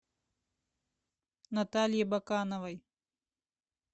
наталье бакановой